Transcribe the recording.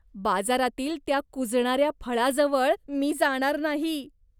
बाजारातील त्या कुजणाऱ्या फळाजवळ मी जाणार नाही.